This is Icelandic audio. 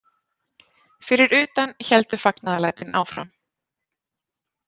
Fyrir utan héldu fagnaðarlætin áfram.